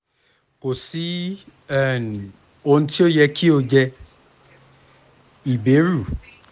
ko si um ohun ti o yẹ ki o jẹ iberu